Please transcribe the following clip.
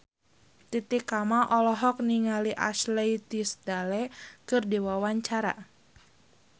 Titi Kamal olohok ningali Ashley Tisdale keur diwawancara